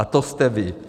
A to jste vy.